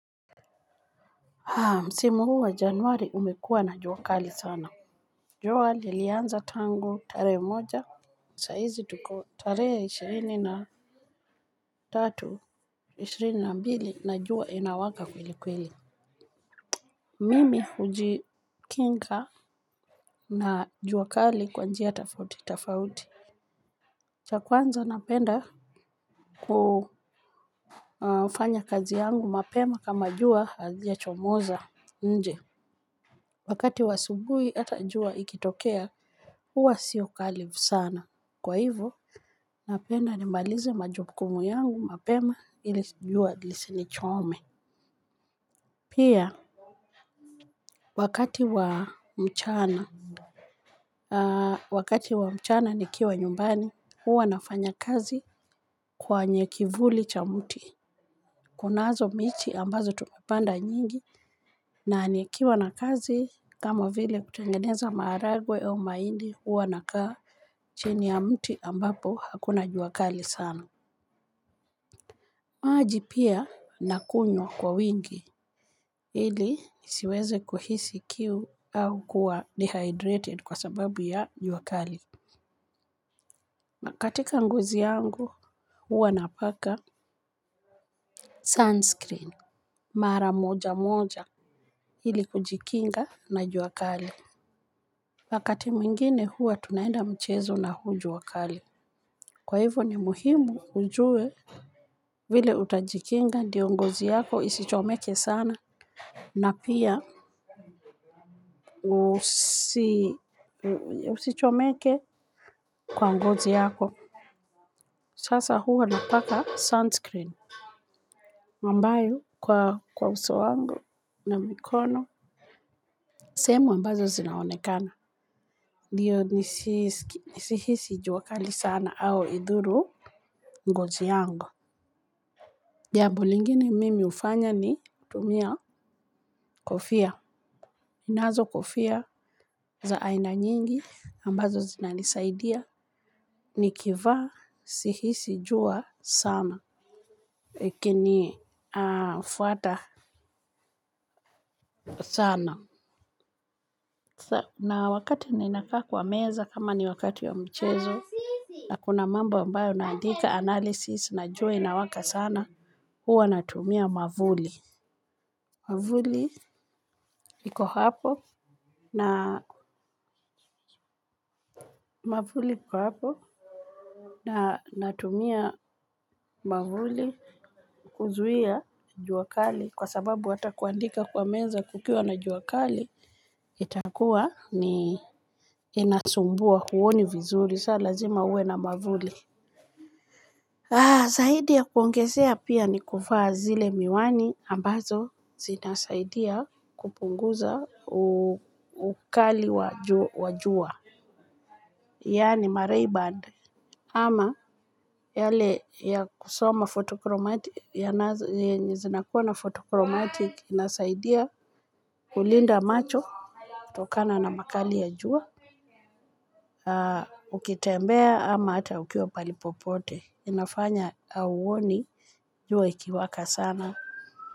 Msimu huu wa januari umekuwa na jua kali sana. Jua lilianza tangu tarehe moja, saa hizi tuko tarehe ishirini na tatu, ishirini na mbili, na jua inawaka kweli kweli. Mimi hujikinga na jua kali kwa njia tofauti tofauti. Cha kwanza napenda kufanya kazi yangu mapema kama jua halijachomoza nje. Wakati wa asubuhi hata jua ikitokea, huwa siyo kali sana. Kwa hivyo napenda nimalize majukumu yangu mapema ili jua lisinichome. Pia, wakati wa mchana, wakati wa mchana nikiwa nyumbani, huwa nafanya kazi kwenye kivuli cha mti. Kunazo miti ambazo tumepanda nyingi na nikiwa na kazi kama vile kutengeneza maharagwe au mahindi huwa nakaa chini ya mti ambapo hakuna jua kali sana. Maji pia nakunywa kwa wingi ili nisiweze kuhisi kiu au kuwa dehydrated kwa sababu ya jua kali. Na katika ngozi yangu huwa napaka sunscreen mara moja moja ili kujikinga na jua kali. Wakati mwingine huwa tunaenda mchezo na huu jua kali kwa hivyo ni muhimu ujue vile utajikinga ndiyo ngozi yako isichomeke sana na pia usichomeke kwa ngozi yako. Sasa huwa napaka sunscreen ambayo kwa uso wangu na mikono sehemu ambazo zinaonekana ndiyo nisihisi jua kali sana au idhuru ngozi yangu. Jambo lingine mimi hufanya ni kutumia kofia. Ninazo kofia za aina nyingi ambazo zinanisaidia. Nikivaa sihisi jua sana. Ikinifuata sana. Na wakati ninakaa kwa meza kama ni wakati wa mchezo. Na kuna mambo ambayo naandika analysis na jua inawaka sana, huwa natumia mwavuli. Mwavuli iko hapo na mwavuli iko hapo na natumia mwavuli kuzuia jua kali kwa sababu hata kuandika kwa meza kukiwa na jua kali itakuwa ni inasumbua huoni vizuri, sasa lazima uwe na mwavuli. Zaidi ya kuongezea pia ni kuvaa zile miwani ambazo zinasaidia kupunguza ukali wa jua. Yaani ma ray band ama yale ya kusoma photochromatic, yenye zinakuwa na photochromatic inasaidia kulinda macho kutokana na makali ya jua. Ukitembea ama hata ukiwa pahali popote inafanya hauoni jua ikiwaka sana.